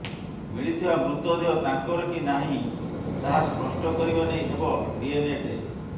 ମିଳିଥିବା ମୃତ ଦେହ ତାଙ୍କର କି ନାହିଁ ତାହା ସ୍ପଷ୍ଟ କରିବା ନେଇ ହେବ ଡ଼ିଏନଏ ଟେଷ୍ଟ